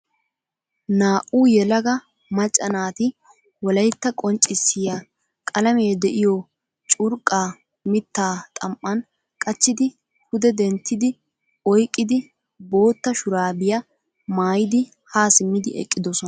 Naa'u yelaga macca naati wolaytta qonccisiya qalame deiyo curqqa mitta xam'an qachchidi pude denttidi oyqqidi bootta shurabiyaa maayidi ha simmidi eqqidosona.